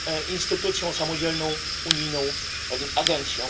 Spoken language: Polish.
instytucją, samodzielną unijną agencją.